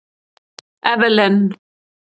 Evelyn